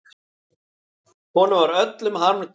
Hann var öllum harmdauði.